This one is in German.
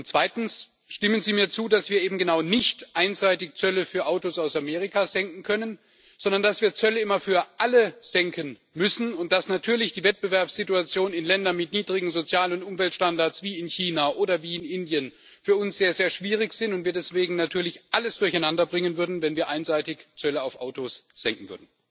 Zweitens Stimmen Sie mir zu, dass wir eben genau nicht einseitig Zölle für Autos aus Amerika senken können, sondern dass wir Zölle immer für alle senken müssen, und dass natürlich die Wettbewerbssituation in Ländern mit niedrigen Sozial und Umweltstandards, wie in China oder wie in Indien, für uns sehr, sehr schwierig ist und wir deswegen natürlich alles durcheinanderbringen würden, wenn wir einseitig Zölle auf Autos senken würden?